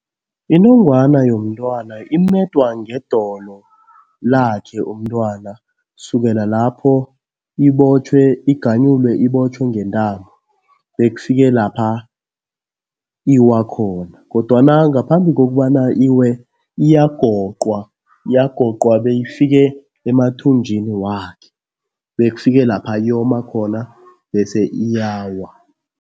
Inongwana yomntwana imedwa ngedolo lakhe umntwana. Sukela lapho ibotjhwe, iganyulwe ibotjhwe ngentambo bekufike lapha iwa khona kodwana ngaphambi kokubana iwe, iyagoqwa. Iyagoqwa beyifike emathunjini wakhe, bekufike lapha yoma khona bese iyawa.